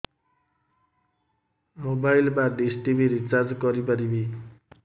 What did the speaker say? mobile ବା dish TV recharge କରି ପାରିବି